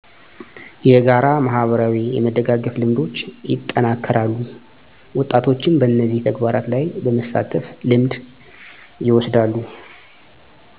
የጋራ ማህበራዊ የመደጋገፍ ልምዶች ይጠናከራሉ ወጣቶችም በነዚህ ተግባራት ላይ በመሳተፍ ልምድ ይወስዳሉ